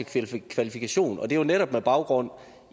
til kvalifikationer og det er jo netop med baggrund